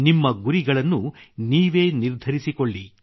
ನಿಮ್ಮ ಗುರಿಗಳನ್ನು ನೀವೇ ನಿರ್ಧರಿಸಿಕೊಳ್ಳಿ